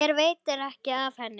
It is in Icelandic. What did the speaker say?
Mér veitir ekki af henni.